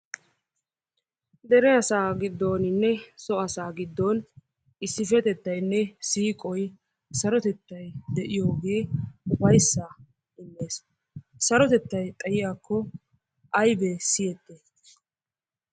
Dere asaa giddooninne so asaa giddon issippetettayinne siiqoy sarotettay de"iyoogee ufayyissaa immes. Sarotettay xayiyaakko aybee siyettiyay?